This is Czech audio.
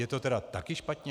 Je to tedy taky špatně?